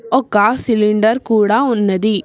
ఒక సిలిండర్ కూడా ఉన్నది.